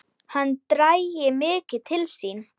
Hann dragi mikið til sín.